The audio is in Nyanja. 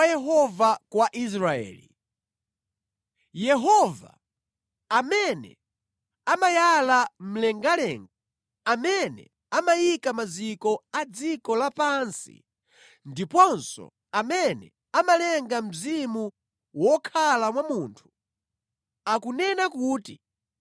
Uthenga wa Yehova kwa Israeli. Yehova, amene amayala mlengalenga, amene amayika maziko a dziko lapansi, ndiponso amene amalenga mzimu wokhala mwa munthu, akunena kuti,